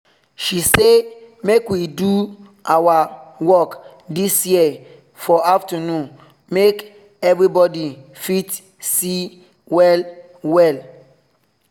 she say make we do our work this year for afternoon make everybody fit see well well